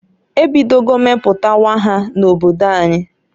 E bidogo meputawa ha na-obodo anyi.